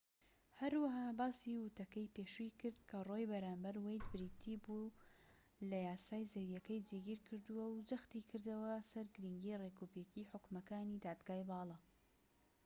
هەروەها باسی وتەکەی پێشووی کرد کە ڕۆو بەرامبەر وەید بریتی بووە لە یاسای زەویەکەی جێگیر کردووە و جەختی کردەوە سەر گرنگیی ڕێکوپێکیی حوکمەکانی دادگای باڵا